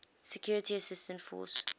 security assistance force